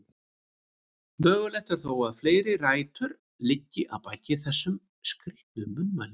Mögulegt er þó að fleiri rætur liggi að baki þessum skrítnu munnmælum.